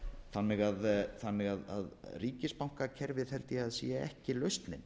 þannig að ríkisabankakerfið held ég að sé ekki lausnin